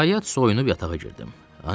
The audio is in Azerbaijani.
Nəhayət, soyunub yatağa girdim.